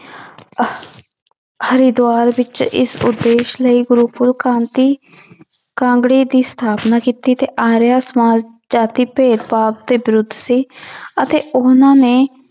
ਹਰਿਦੁਆਰ ਵਿੱਚ ਇਸ ਉਦੇਸ਼ ਲਈ ਕਾਂਗੜੇ ਦੀ ਸਥਾਪਨਾ ਕੀਤੀ ਤੇ ਆਰੀਆ ਸਮਾਜ ਜਾਤੀ ਭੇਦਭਾਵ ਦੇ ਵਿਰੁੱਧ ਸੀ ਅਤੇ ਉਹਨਾਂ ਨੇ